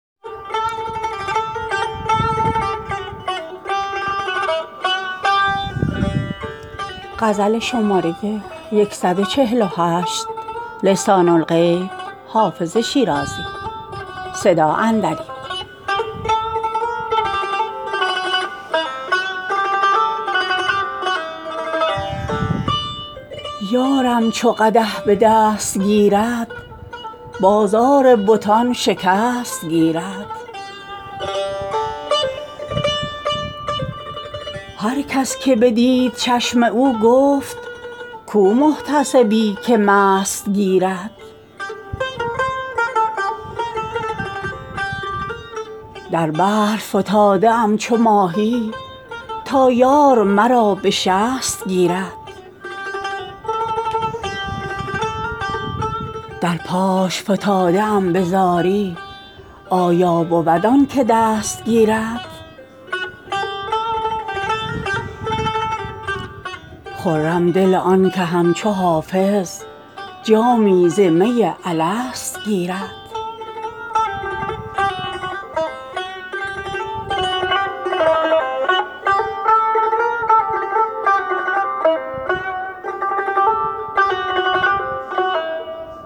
یارم چو قدح به دست گیرد بازار بتان شکست گیرد هر کس که بدید چشم او گفت کو محتسبی که مست گیرد در بحر فتاده ام چو ماهی تا یار مرا به شست گیرد در پاش فتاده ام به زاری آیا بود آن که دست گیرد خرم دل آن که همچو حافظ جامی ز می الست گیرد